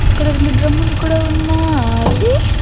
అక్కడ రెండు డ్రమ్ లు కూడా ఉన్నాయి.